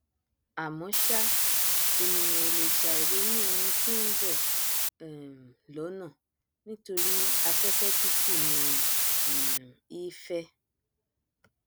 àmọ ṣá ènìyàn ò lè ṣàì ronú oun tí nbọ um lọnà níoripé afẹfẹ tútù ní um í fẹ